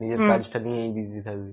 নিজের কাজটা নিয়েই busy থাকবি.